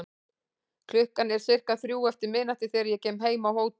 Klukkan er sirka þrjú eftir miðnætti þegar ég kem heim á hótel.